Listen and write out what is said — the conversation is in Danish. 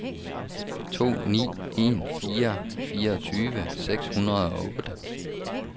to ni en fire fireogtyve seks hundrede og otte